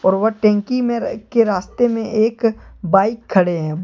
और व टंकी में के रास्ते में एक बाइक खड़े हैं।